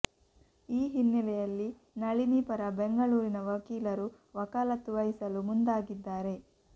ಈ ಹಿನ್ನೆಲೆಯಲ್ಲಿ ನಳಿನಿ ಪರ ಬೆಂಗಳೂರಿನ ವಕೀಲರು ವಕಾಲತ್ತು ವಹಿಸಲು ಮುಂದಾಗಿದ್ದಾರೆ